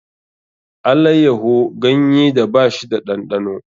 Allayyaho ganyeda ba shi da ɗanɗano